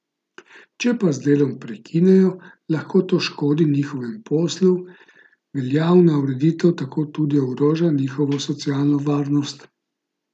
Če pa z delom prekinejo, lahko to škodi njihovemu poslu, veljavna ureditev tako tudi ogroža njihovo socialno varnost.